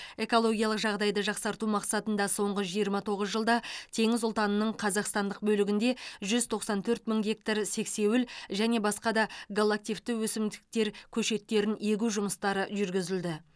экологиялық жағдайды жақсарту мақсатында соңғы жиырма тоғыз жылда теңіз ұлтанының қазақстандық бөлігінде жүз тоқсан төрт мың гектар сексеуіл және басқа да галлактивті өсімдіктер көшеттерін егу жұмыстары жүргізілді